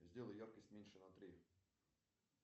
сделай яркость меньше на три